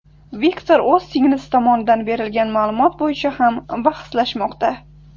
Viktor o‘z singlisi tomonidan berilgan ma’lumot bo‘yicha ham bahslashmoqda.